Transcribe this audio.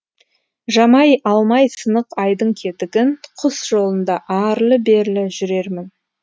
жамай алмай сынық айдың кетігін құс жолында арлы берлі жүрермін